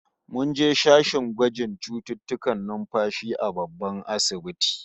Mun je sashen gwajin cututtukan numfashi a babban asibitin